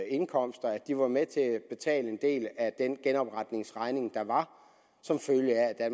indkomster var med til at betale en del af den genopretningsregning der var som følge af at